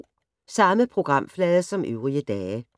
Samme programflade som øvrige dage